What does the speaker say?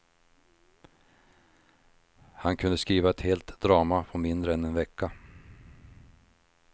Han kunde skriva ett helt drama på mindre än en vecka.